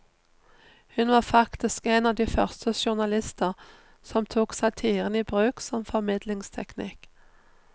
Hun var faktisk en av de første journalister som tok satiren i bruk som formidlingsteknikk.